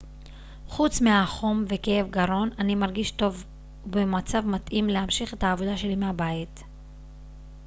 חוץ מהחום וכאב גרון אני מרגיש טוב ובמצב מתאים להמשיך את העבודה שלי מהבית